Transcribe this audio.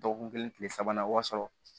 Dɔgɔkun kelen tile sabanan b'a sɔrɔ